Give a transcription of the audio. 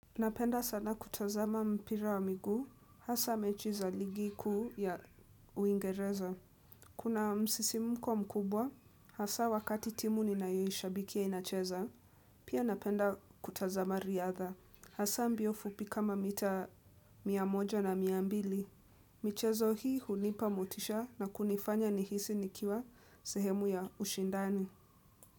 Napenda sana kutazama mpira wa miguu, hasa mechi za ligi kuu ya uingereza. Kuna msisimuko mkubwa, hasa wakati timu ninaishabikia inacheza, pia napenda kutazama riadha. Hasa mbio fupi kama mita mia moja na mia mbili. Michezo hii hunipa motisha na kunifanya nihisi nikiwa sehemu ya ushindani.